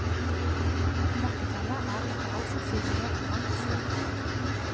Mørketallet er etter all sannsynlighet langt større.